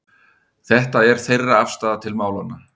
Þetta er þeirra afstaða til málanna